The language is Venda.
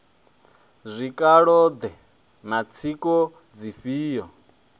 zwikalo ḓe na tsiko dzifhio